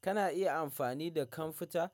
Kana iya amfani da kamfuta?